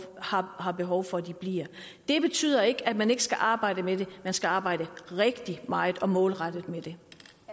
har har behov for at det bliver det betyder ikke at man ikke skal arbejde med det man skal arbejde rigtig meget og målrettet med det